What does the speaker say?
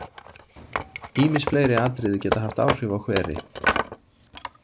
Ýmis fleiri atriði geta haft áhrif á hveri.